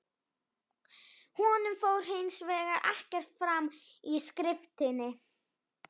Honum fór hins vegar ekkert fram í skriftinni.